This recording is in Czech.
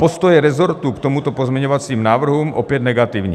Postoje resortu k těmto pozměňovacím návrhům - opět negativní.